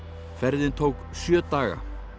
ferðin tók sjö daga